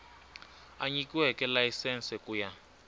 a nyikiweke layisense ku ya